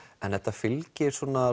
þetta fylgir